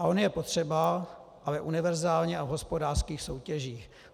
A on je potřeba, ale univerzálně a v hospodářských soutěžích.